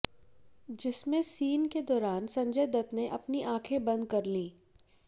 जिसमें सीन के दौरान संजय दत्त ने अपनी आखें बंद कर ली